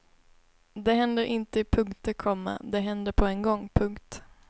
Det händer inte i punkter, komma det händer på en gång. punkt